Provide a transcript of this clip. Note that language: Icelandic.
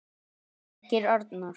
Birgir Arnar.